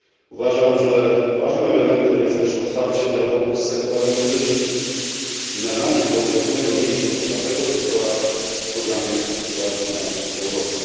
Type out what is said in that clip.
Uważam, że ważnym elementem jest też otwarcie dialogu z sektorem muzycznym i nadanie konkretnej wagi temu sektorowi w programie Kreatywna Europa.